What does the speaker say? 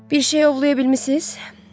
Bir şey ovlaya bilmisiz?